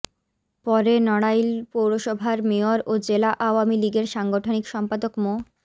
পরে নড়াইল পৌরসভার মেয়র ও জেলা আওয়ামী লীগের সাংগঠনিক সম্পাদক মো